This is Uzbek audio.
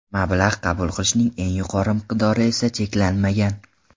Mablag‘ qabul qilishning eng yuqori miqdori esa cheklanmagan.